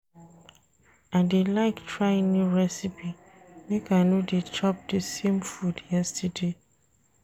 I dey like try new recipe make I no dey chop di same food everyday.